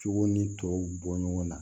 Cogo ni tɔw bɔ ɲɔgɔn na